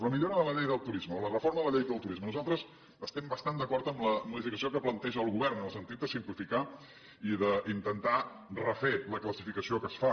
en la millora de la llei del turisme o la reforma de la llei del turisme nosaltres estem basant d’acord amb la modificació que planteja el govern en el sentit de simplificar i d’intentar refer la classificació que es fa